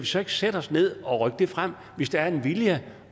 så ikke sætte os ned og rykke det frem hvis der er en vilje